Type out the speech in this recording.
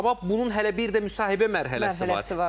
Amma bunun hələ bir də müsahibə mərhələsi var.